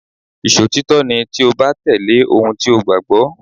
Ìṣòtítọ́ ni tí o bá tẹ̀lé ohun tí o gbàgbọ́.